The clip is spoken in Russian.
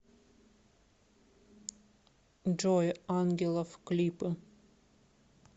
джой ангелов клипы